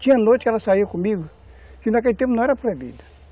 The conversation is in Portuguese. Tinha noite que elas saíam comigo, que naquele tempo não era proibido.